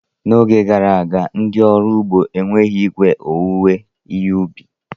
N'oge gara aga, ndị ọrụ ugbo enweghị igwe owuwe ihe ubi.